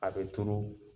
A bɛ turu